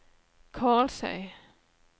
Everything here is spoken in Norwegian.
Karlsøy